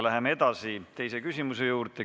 Läheme edasi teise küsimuse juurde.